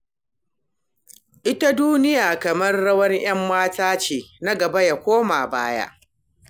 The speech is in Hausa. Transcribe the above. Ita duniya kamar rawar 'yan mata take, na gaba ya koma baya.